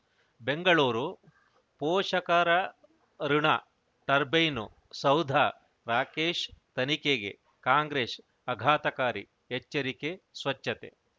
ಬೆಂಗಳೂರು ಪೋಷಕರಋಣ ಟರ್ಬೈನು ಸೌಧ ರಾಕೇಶ್ ತನಿಖೆಗೆ ಕಾಂಗ್ರೆಸ್ ಆಘಾತಕಾರಿ ಎಚ್ಚರಿಕೆ ಸ್ವಚ್ಛತೆ